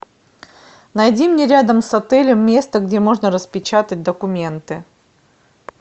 найди мне рядом с отелем место где можно распечатать документы